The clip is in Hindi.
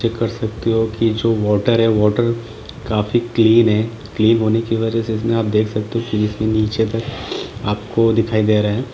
चेक कर सकते हो की जो वाटर है वाटर काफी क्लीन है क्लीन होने की वजह से इसमें आपको दिखाई दे रहा है।